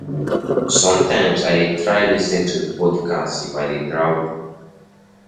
Sometimes I dey try lis ten to podcasts if I dey travel.